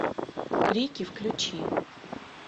крики включи